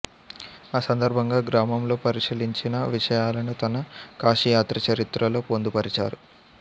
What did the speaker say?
ఆ సందర్భంగా గ్రామంలో పరిశీలించిన విషయాలను తన కాశీయాత్రచరిత్రలో పొందుపరిచారు